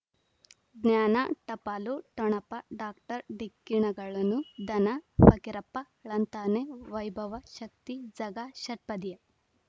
ಜ್ಞಾನ ಟಪಾಲು ಠೊಣಪ ಡಾಕ್ಟರ್ ಢಿಕ್ಕಿ ಣಗಳನು ಧನ ಫಕೀರಪ್ಪ ಳಂತಾನೆ ವೈಭವ ಶಕ್ತಿ ಝಗಾ ಷಟ್ಪದಿಯ